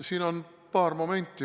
Siin on paar momenti.